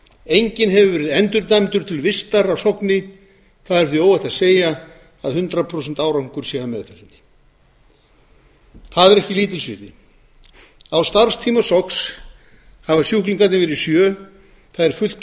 enginn hefur verið endurdæmdur til vistar á sogni það er því er óhætt að segja að hundrað prósent árangur sé af meðferðinni það er ekki lítils virði á starfstíma sogns hafa sjúklingarnir verið sjö það er fullt